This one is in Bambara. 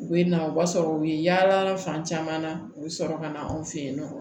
U bɛ na o b'a sɔrɔ u ye yaala fan caman na u bɛ sɔrɔ ka na anw fɛ yen nɔ